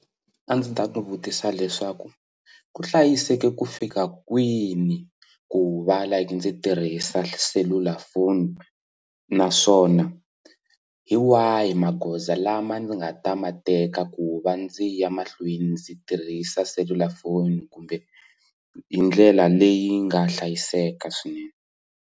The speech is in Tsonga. A ndzi ta n'wi vutisa leswaku ku hlayiseke ku fika kwini ku va like ndzi tirhisa selulafoni naswona hi wahi magoza lama ndzi nga ta ma teka ku va ndzi ya mahlweni ndzi tirhisa selulafoni kumbe hi ndlela leyi nga hlayiseka swinene.